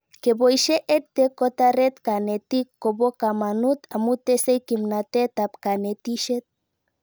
Kepoishe EdTech kotaret kanetik ko po kamanut amu tesei kimnatet ab kanetishet